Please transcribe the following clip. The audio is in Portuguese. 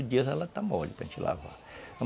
oito dias ela está mole para gente lavar.